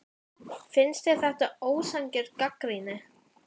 Finnst þér þetta vera ósanngjörn gagnrýni?